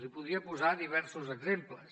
li podria posar diversos exemples